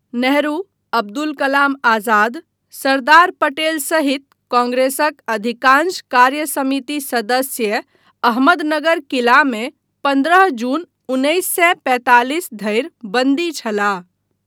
नेहरू, अब्दुल कलाम आजाद, सरदार पटेल सहित कांग्रेसक अधिकांश कार्यसमिति सदस्य अहमदनगर किला मे पन्द्रह जून उन्नैस सए पैंतालिस धरि बन्दी छलाह।